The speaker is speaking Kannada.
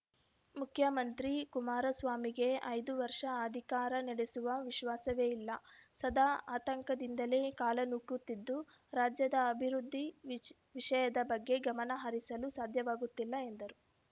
ಮುಖ್ಯಮಂತ್ರಿ ಕುಮಾರಸ್ವಾಮಿಗೆ ಐದು ವರ್ಷ ಅಧಿಕಾರ ನಡೆಸುವ ವಿಶ್ವಾಸವೇ ಇಲ್ಲ ಸದಾ ಆತಂಕದಿಂದಲೇ ಕಾಲ ನೂಕುತ್ತಿದ್ದು ರಾಜ್ಯದ ಅಭಿವೃದ್ಧಿ ವಿಜ್ ವಿಷಯದ ಬಗ್ಗೆ ಗಮನಹರಿಸಲು ಸಾಧ್ಯವಾಗುತ್ತಿಲ್ಲ ಎಂದರು